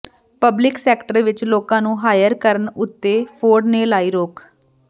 public sector ਵਿੱਚ ਨਵੇਂ ਲੋਕਾਂ ਨੂੰ ਹਾਇਰ ਕਰਨ ਉੱਤੇ ਫੋਰਡ ਨੇ ਲਾਈ ਰੋਕ